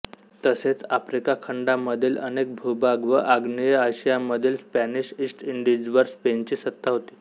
तसेच आफ्रिका खंडामधील अनेक भूभाग व आग्नेय आशियामधील स्पॅनिश ईस्ट इंडिजवर स्पेनची सत्ता होती